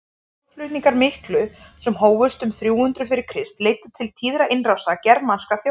þjóðflutningarnir miklu sem hófust um þrjú hundruð fyrir krist leiddu til tíðra innrása germanskra þjóða